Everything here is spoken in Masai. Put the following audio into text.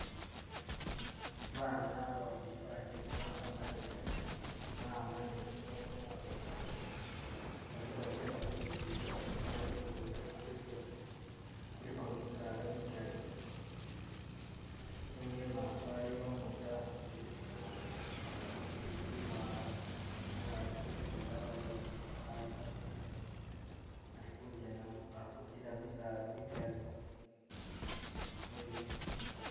Baana babili bagyeke ba'ambanile, ba'ambanile mu munguto baliko bagyenda ku lugudo nenga ku lugudo kuliko kuliko misaala migali nenga imaaso aliyo umutu asudile bitu kumutwe, bitu biwanga nenga bali kugyenda bali babili bana bali babili balikugyenda bali kubitila mumisala migali nibisi...